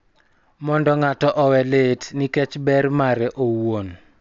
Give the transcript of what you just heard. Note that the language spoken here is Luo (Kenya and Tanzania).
Mondo ng�ato owe lit nikech ber mare owuon,